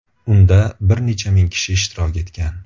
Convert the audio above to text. Unda bir necha ming kishi ishtirok etgan.